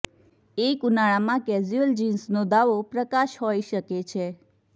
એક ઉનાળામાં કેઝ્યુઅલ જિન્સનો દાવો પ્રકાશ હોઈ શકે છે